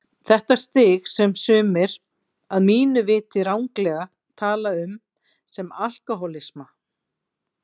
Þetta stig sem sumir, að mínu viti ranglega, tala um sem alkohólisma.